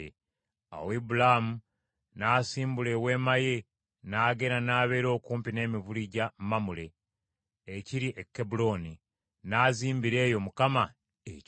Awo Ibulaamu n’asimbula eweema ye n’agenda n’abeera okumpi n’emivule gya Mamule, ekiri e Kebbulooni, n’azimbira eyo Mukama ekyoto.